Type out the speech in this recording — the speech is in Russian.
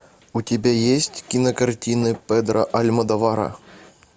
у тебя есть кинокартины педро альмодовара